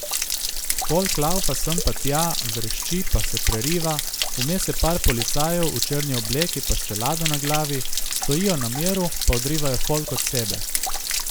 Folk laufa sem pa tja, vrešči pa se preriva, vmes je par policajev, v črni obleki pa s čelado na glavi, stojijo na miru pa odrivajo folk od sebe.